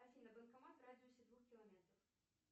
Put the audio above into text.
афина банкомат в радиусе двух километров